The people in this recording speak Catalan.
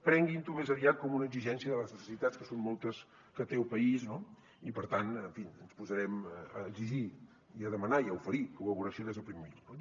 prenguin ho més aviat com una exigència de les necessitats que són moltes que té el país no i per tant en fi ens posarem a exigir i a demanar i a oferir col·laboració des del primer minut